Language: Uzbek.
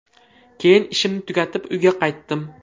Keyin ishimni tugatib, uyga qaytdim.